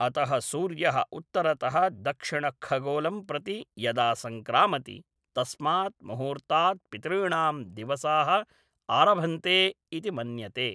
अतः सूर्यः उत्तरतः दक्षिणखगोलं प्रति यदा संक्रामति तस्मात् मुहूर्तात् पितॄणां दिवसाः आरभन्ते इति मन्यते।